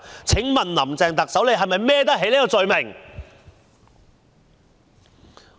請問特首是否能背得起這個罪名？